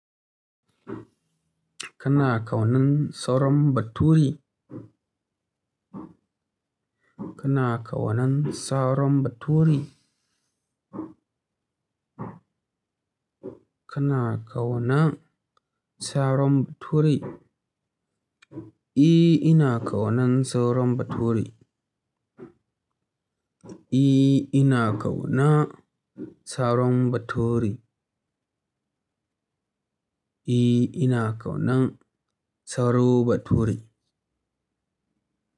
Kana kaunan Sauron Baturi? Kana kaunan Saron Bature? Kana kaunan Saron ture? E ina kaunan Sauron Bature. E ina kauna Saron Bature. E ina kaunan Saro Bature.